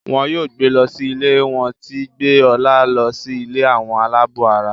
wón yóò gbé ló sì ilé wón tí gbé Ola ló sì ilé Àwọn alabó àrà.